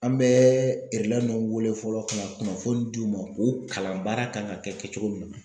An bɛ nunnu wele fɔlɔ ka na kunnafoni di u ma u kalan baara kan ka kɛ kɛcogo min na.